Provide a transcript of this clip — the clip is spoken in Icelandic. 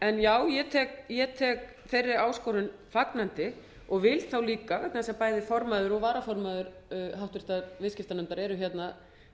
en já ég tek þeirri áskorun fagnandi og vil líka vegna þess að bæði formaður og varaformaður háttvirtur viðskiptanefndar eru hérna